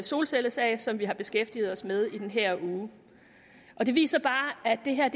solcellesag som vi har beskæftiget os med i den her uge og det viser bare at det her